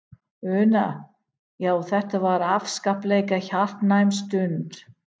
Una: Já, þetta var afskaplega hjartnæm stund?